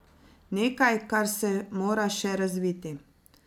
Nekaj, kar se mora še razviti.